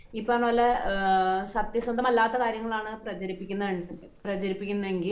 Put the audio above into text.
ഈ പറഞ്ഞ പോലെ സത്യസന്ധമല്ലാത്ത കാര്യങ്ങളാണ് പ്രചരിപ്പിക്കുന്നത്, പ്രചരിപ്പിക്കുന്നത് എങ്കിൽ